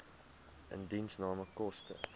indiensname koste